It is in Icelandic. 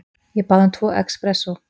Ég bað um tvo expressó.